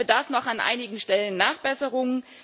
Er bedarf noch an einigen Stellen der Nachbesserung.